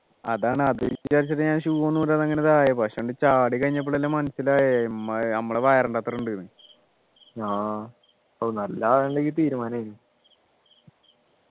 അതാണ് അത് വിചാരിച്ചിട്ട് ഞാൻ shoe ഒന്നും ഊരാതെ അങ്ങനെ ഇതാ പക്ഷേ ചാടി കഴിഞ്ഞപ്പോഴല്ലേ മനസ്സിലായത് നമ്മുടെ വയറിൻ്റെ അത്ര ഉണ്ടെന്നു ഓ നല്ല ആഴമുണ്ടെങ്കിൽ തീരുമാനമായി